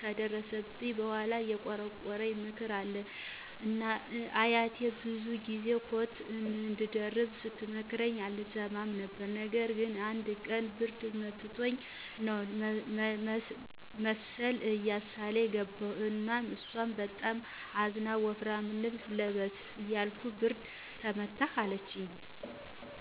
ከደረሰብኝ በኋላ የቆረቆረኝ ምክር አለ። አያቴ ብዙ ጊዚ ኮት አንድደርብ ስተመክረኝ አልሰማትም ነበር። ነገር ግን አንድ ቀን ብርድ መትቶኝ ነው መሰል እያሳለኝ ገባሁ እና እሷ በጣም አዝና ወፍራም ልብስ ልበስ እያልኩህ ብርድ መታህ አለችኝ።